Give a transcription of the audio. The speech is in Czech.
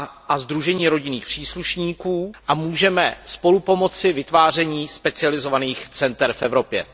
a sdružení rodinných příslušníků a můžeme napomoci vytváření specializovaných center v Evropě.